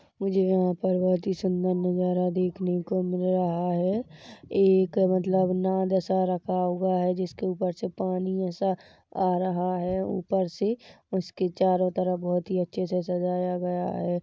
मुझे यहाँ पर बहुत ही सुंदर नज़ारा देखने को मिल रहा है एक मतलब नाद सा रखा हुआ है जिसके ऊपर से पानी ऐसा आ रहा है ऊपर से उसके चारो तरफ बहुत ही अच्छे से सजाया गया है।